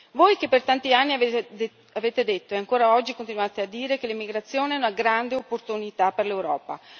Voi che per tanti anni avete detto e ancora oggi continuate a dire che l'immigrazione è una grande opportunità per l'Europa.